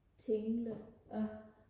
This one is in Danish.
Tinglev